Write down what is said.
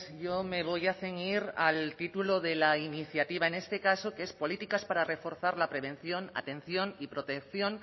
yo me voy a ceñir al título de la iniciativa en este caso que es políticas para reforzar la prevención atención y protección